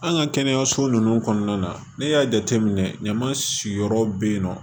An ka kɛnɛyaso ninnu kɔnɔna na ne y'a jateminɛ ɲama sigiyɔrɔ bɛ yen nɔ